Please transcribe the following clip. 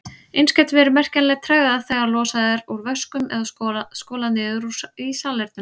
Eins gæti verið merkjanleg tregða þegar losað er úr vöskum eða skolað niður í salernum.